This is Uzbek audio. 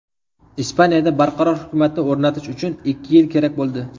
Ispaniyada barqaror hukumatni o‘rnatish uchun ikki yil kerak bo‘ldi.